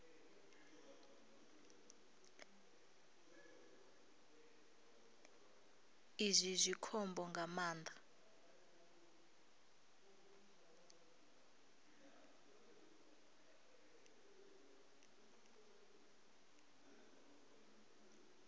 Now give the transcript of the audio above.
izwi zwi khombo nga maanḓa